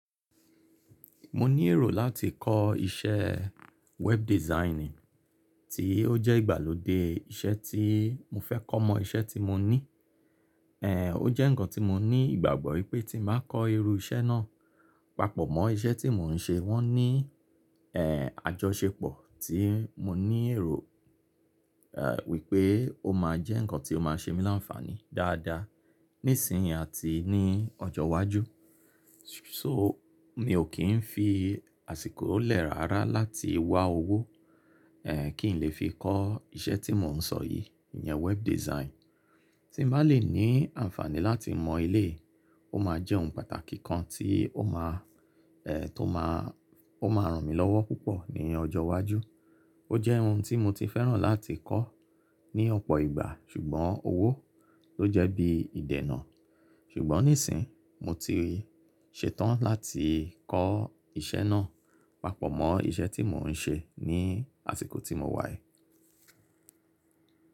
Mo ní èrò láti kọ́ iṣẹ́ web design, tí ó jẹ́ ìgbàlódé iṣẹ́ tí mo fẹ́ kọ́ mọ iṣẹ́ tí mo ní. Èé, ó jẹ́ ǹkan tí mo ní ìgbàgbọ́ wípé tí n bá kọ́ irú iṣẹ́ náà, pàpọ̀ mọ́ iṣẹ́ tí mò ń ṣe, wọ́n ní èé àjọṣepọ̀ tí mo ní èrò èé wípé ó máa jẹ́ ǹkan tí ó máa ṣe mí láǹfààní dáadáa nísìnyìí àti ní ọjọ́ iwájú. So mi ò kí ń fi àsìkò lẹ̀ rárá láti wá owó èé kí n lè fi kọ́ iṣẹ́ tí mò ń sọ yìí, ìyẹn web design. Tí n bá le ní àǹfààní láti mọ eléyi, ó máa jẹ́ ohun pàtàkì kan tí ó máa èé tó máa, ó máa ràn mí lọ́wọ́ púpọ̀ ní ọjọ́ iwájú. Ó jẹ́ ohun tí mo ti fẹ́ràn láti kọ́ ní ọ̀pọ̀ ìgbà ṣùgbọ́n owó ló jẹ́ bí ìdènà. Ṣùgbọ́n nísìnyìí mo ti ṣe tán láti kọ́ iṣẹ́ náà, pàpọ̀ mọ́ iṣẹ́ tí mò ń ṣe ní àsìkò tí mo wà yìí.